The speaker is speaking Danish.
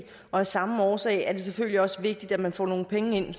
og af samme årsag er det selvfølgelig også vigtigt at man får nogle penge ind